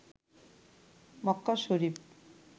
Mecca Sharif